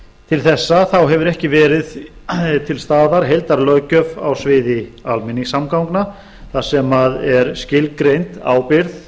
til þessa hefur ekki verið til staðar heildarlöggjöf á sviði almenningssamgangna þar sem er skilgreind ábyrgð